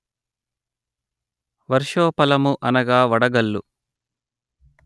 వర్షోపలము అనగా వడగల్లు